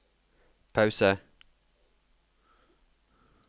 pause